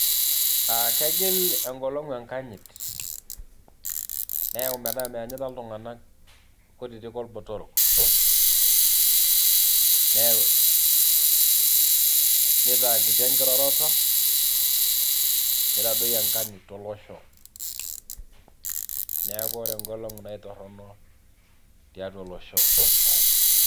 kegil egolong'u enkajit neyau metaa meyanyita iltung'anak kutitik orbotorok , nitaa kiti enkiroroto nitadoyio enkanyit tolosho neeku ore engolong'u naa kitoronok tiatua olosho.